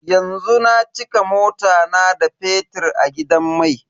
Yanzu na cika mota na da fetir a gidan mai.